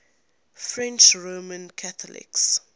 french roman catholics